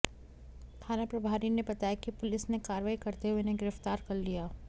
थाना प्रभारी ने बताया कि पुलिस ने कार्रवाई करते हुए इन्हें गिरफ्तार कर लिया